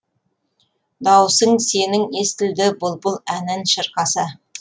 дауысың сенің естілді бұлбұл әнін шақырса